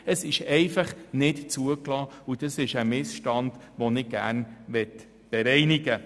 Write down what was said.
Es ist einfach nicht zugelassen, und diesen Missstand möchte ich gerne beseitigen.